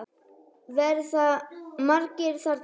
Verða margir þarna?